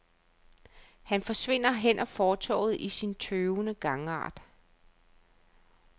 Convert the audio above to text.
Han forsvinder hen ad fortovet i sin tøvende gangart.